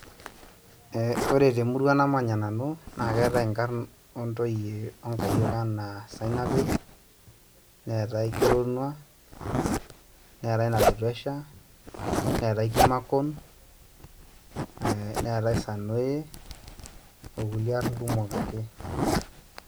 Ore temurua namanya nanu naa keetai inkarn oontoyie onkayiok enaa sanaipei ,neetai kironua ,neetai nalotuesha neeetai kimakon ee neetai sanoe okulie aar kumok ake.